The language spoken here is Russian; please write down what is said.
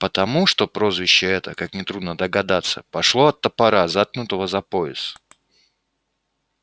потому что прозвище это как нетрудно догадаться пошло от топора заткнутого за пояс